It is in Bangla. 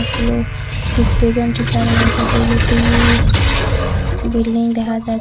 হল ঠিক দুজন টিচার রয়েসে স বিল্ডিং দেখা যা--